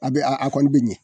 A bɛ a a kɔni be ɲɛ.